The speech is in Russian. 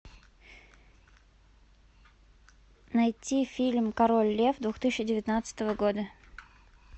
найти фильм король лев две тысячи девятнадцатого года